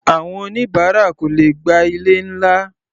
Àwọn oníbáárà kò lè gba ilé-ńlá.